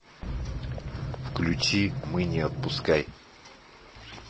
включи мы не отпускай